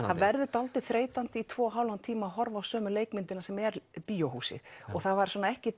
það verður dáldið þreytandi í tvo og hálfan tíma að horfa á sömu leikmyndina sem er bíóhúsið og það var ekkert